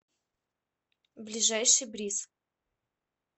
ближайший бриз